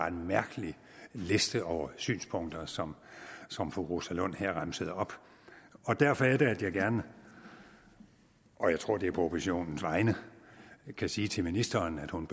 en mærkelig liste over synspunkter som som fru rosa lund her remsede op derfor er det jeg gerne og jeg tror det er på oppositionens vegne vil sige til ministeren at hun